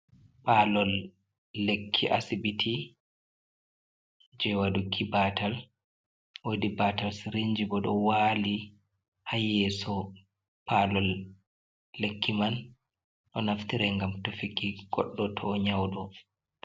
Pallol lekki asibiti je waduki batal wodi batal sirinji bo do wali hayyeso palol lekki man do naftira gam tofiki goddo to nyaudo.